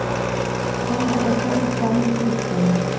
Han er også en sann kristen.